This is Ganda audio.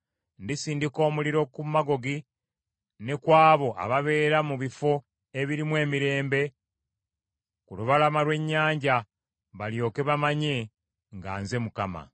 Ndisindika omuliro ku Magogi ne ku abo ababeera mu bifo ebirimu emirembe ku lubalama lw’ennyanja; balyoke bamanye nga nze Mukama .